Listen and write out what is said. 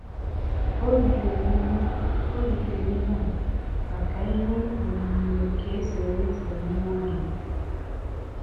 Ò rìtèrè ihe Ò rìtèrè ihe à maka ihe onyonyo nke èsèrèsè nwá-ògé.